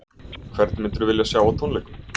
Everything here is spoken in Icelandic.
Hvern myndirðu vilja sjá á tónleikum?